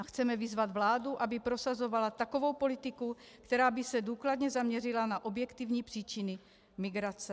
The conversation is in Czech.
- A chceme vyzvat vládu, aby prosazovala takovou politiku, která by se důkladně zaměřila na objektivní příčiny migrace.